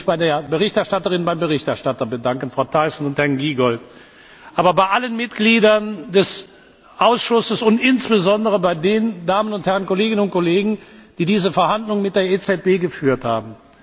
Ich möchte mich bei der Berichterstatterin und bei dem Berichterstatter bedanken, Frau Thyssen und Herrn Giegold, aber auch bei allen Mitgliedern des Ausschusses und insbesondere bei den Damen und Herren Kolleginnen und Kollegen, die diese Verhandlungen mit der EZB geführt haben.